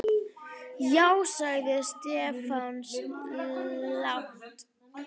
Já sagði Stefán lágt.